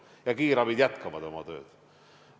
Ja kiirabi jätkab oma tööd.